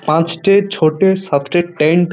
পাঁচটি ছোটি সাতটি টেন্ট |